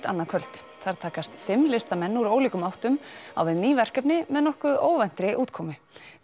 annað kvöld þar takast fimm listamenn úr ólíkum áttum á við ný verkefni með nokkuð óvæntri útkomu